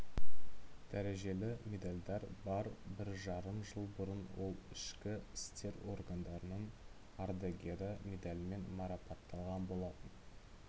дәрежелі медалдар бар бір жарым жыл бұрын ол ішкі істер органдарының ардагері медалімен марапатталған болатын